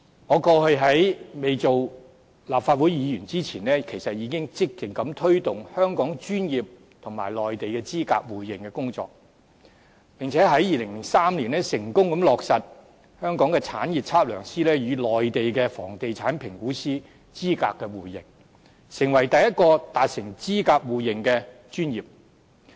我過去在未成為立法會議員前，其實已積極推動香港與內地專業資格互認的工作，並且在2003年成功落實香港的產業測量師與內地的房地產評估師資格的互認，成為第一個達成資格互認的專業。